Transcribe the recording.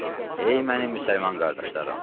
Ey mənim müsəlman qardaşlarım!